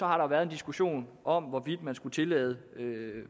har der været en diskussion om hvorvidt man skulle tillade